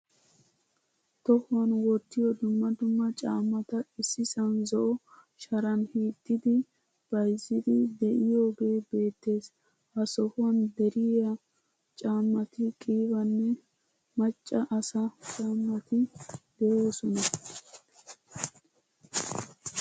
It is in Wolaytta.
Tohuwan wottiyo dumma dumma caamaata issisan zo'o sharan hiixidi bayzzidi de'iyoge beetees. Ha sohuwan driya caamati qiibaanne macca asaa caamati deosona.